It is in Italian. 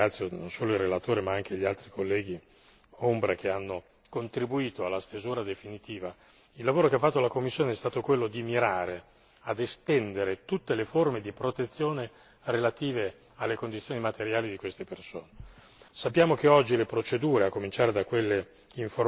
Il lavoro che ha fatto la Commissione e di questo do atto e ringrazio non solo il relatore ma anche gli altri colleghi ombra che hanno contribuito alla stesura definitiva, il lavoro che ha fatto la Commissione è stato quello di mirare ad estendere tutte le forme di protezione relative alle condizioni materiali di queste persone.